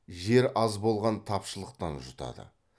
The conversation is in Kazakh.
жер аз болған тапшылықтан жұтады